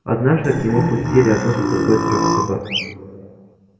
однажды к нему впустили одну за другой трёх собак